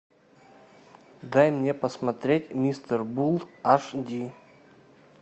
дай мне посмотреть мистер булл аш ди